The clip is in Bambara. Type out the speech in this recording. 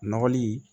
Nɔgɔli